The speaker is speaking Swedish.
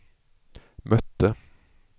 mötte